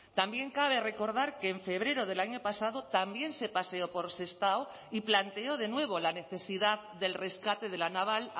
también cabe recordar que en febrero del año pasado también se paseó por sestao y planteó de nuevo la necesidad del rescate de la naval